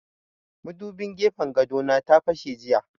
Madubin gefen gado na ta fashe jiya